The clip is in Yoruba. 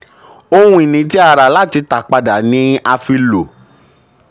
ohun ìní tí a rà láti tà padà ni a fi lò.